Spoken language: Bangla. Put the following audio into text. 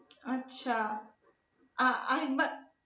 আচ্ছা আহ আরেকবার